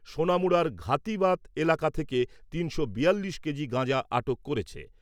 সোনামুড়ার ঘাতিবাত এলাকা থেকে তিনশো বিয়াল্লিশ কেজি গাঁজা আটক করেছে।